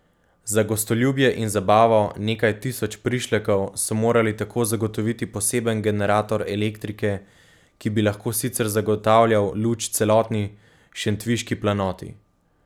Za gostoljubje in zabavo nekaj tisoč prišlekov so morali tako zagotoviti poseben generator elektrike, ki bi lahko sicer zagotavljal luč celotni Šentviški planoti.